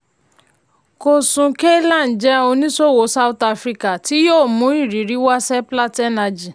koosun kalyan jẹ́ oníṣòwò south african tí yóò mú ìrírí wá seplat energy.